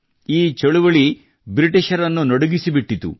ಈ ಚಳುವಳಿಯು ಬ್ರಿಟಿಷರನ್ನು ನಡುಗಿಸಿಬಿಟ್ಟಿತು